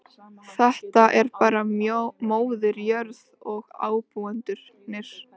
Þetta er bara móðir jörð og ábúendurnir.